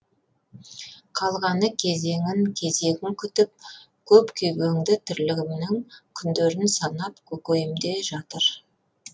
қалғаны кезеңін кезегін күтіп көп күйбеңді тірлігімнің күндерін санап көкейімде жатыр